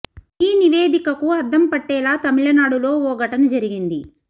ఈ నివేదికకు అద్దం పట్టేలా తమిళనాడులో ఓ ఘటన జరిగింది